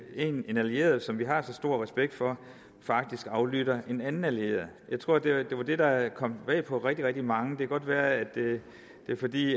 en allieret som vi har så stor respekt for faktisk aflytter en anden allieret jeg tror det var det der kom bag på rigtig rigtig mange det kan godt være det er fordi